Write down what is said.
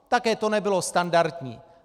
Také to nebylo standardní.